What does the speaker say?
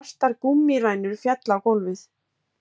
Svartar gúmmíræmurnar féllu á gólfið